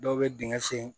Dɔw bɛ dingɛ sen